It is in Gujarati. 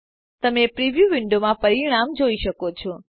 તમે પ્રિવ્યુ વિન્ડોમાં પરિણામ જોઈ શકો છો